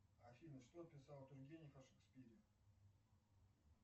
афина что писал тургенев о шекспире